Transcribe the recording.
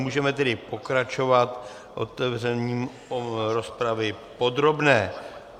Můžeme tedy pokračovat otevřením rozpravy podrobné.